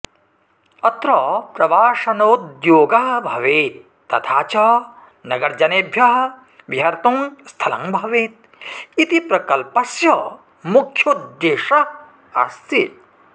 अत्र प्रवासनोद्योगः भवेत् तथा च नगरजनेभ्यः विहर्तुं स्थलं भवेत् इति प्रकल्पस्य मुख्योद्देशः अस्ति